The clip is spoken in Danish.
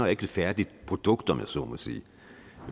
ikke et færdigt produkt om jeg så må sige